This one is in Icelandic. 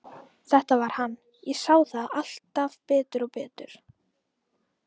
Þetta var hann, ég sá það alltaf betur og betur.